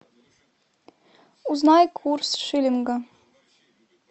узнай курс шиллинга